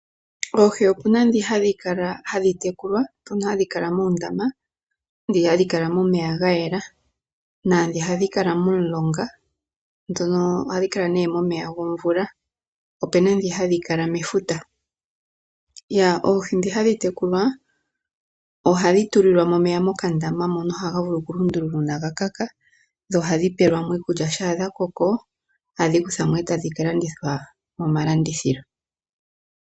Oohi opuna dhoka hadhi tekulwa ,hadhi kala muundama, ndhono hadhi kala momeya gayela noshowo ndhoka hadhi kala momulonga ano momeya gomvula. Opena ndhi hadhi kala mefuta. Oohi ndhi hadhi tekulwa ohadhi tulilwamo omeya mokandama mono haga vulu oku lundululwa uuna ga kaka dho ohadhipelwamo iikulya. Shampa dha koko ohadhi kuthwamo etadhi kalandithwa mo malandithilo.